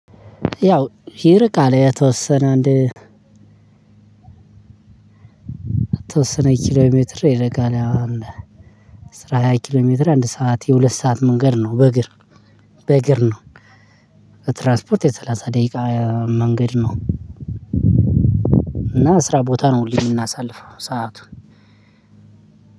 ያው ይርቃል የተወሰነ አንድ የተወሰነ ኪሎሜትር ይርቃል የው አስር ሃያ ኪሎሜትር አንድ ሰዓት የሁለት ሰዓት መንገድ ነው በእግር በእግር ነው። በትራንስፖርት የሰለሳ ደቂቃ መንገድ ነው። እና ስራ ቦታ ነው ሁለ የምናሰልው ሰአቱን።